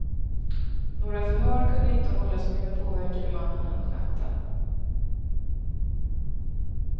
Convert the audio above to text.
Några förhör kunde inte hållas med den påverkade mannen under natten.